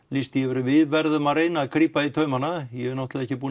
lýst því yfir að við verðum að grípa í taumana ég hef náttúrulega ekki